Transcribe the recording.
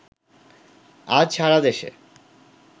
আজ সারাদেশে